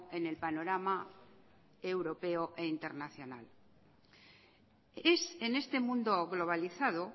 en el panorama europeo e internacional es en este mundo globalizado